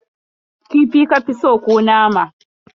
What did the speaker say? Kifi ka fi so ko nama?